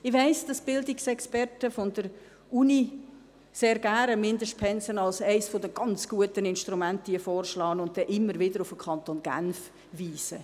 Ich weiss, dass Bildungsexperten der Universität Mindestpensen sehr gerne als eines der ganz guten Instrumente vorschlagen und immer wieder auf den Kanton Genf verweisen.